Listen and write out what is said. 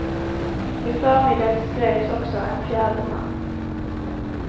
I förmiddags greps också en fjärde man.